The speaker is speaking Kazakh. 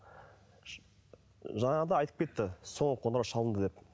жаңағыда айтып кетті соңғы қоңырау шалынды деп